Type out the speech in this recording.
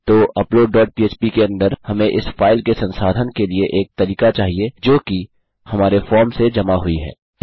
तो upload dot पह्प के अंदर हमें इस फाइल के संसाधन के लिए एक तरीका चाहिए जोकि हमारे फॉर्म से जमा हुई है